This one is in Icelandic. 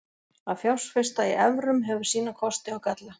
Að fjárfesta í evrum hefur sína kosti og galla.